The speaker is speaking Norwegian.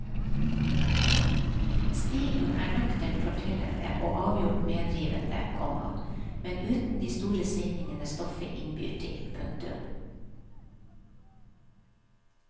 Stilen er nøkternt fortellende og avgjort medrivende, komma men uten de store svingningene stoffet innbyr til. punktum